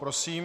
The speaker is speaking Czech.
Prosím.